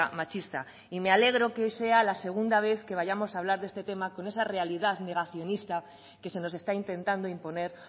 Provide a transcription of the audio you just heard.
machista y me alegro que hoy sea la segunda vez que vayamos a hablar de este tema con esa realidad negacionista que se nos está intentando imponer